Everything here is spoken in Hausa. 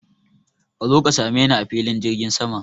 Ka zo ka sameni a filin jirgin saman.